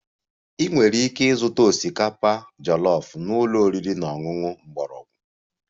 Ị nwere ike ịzụta osikapa jollof na ụlọ oriri na ọṅụṅụ mgbọrọgwụ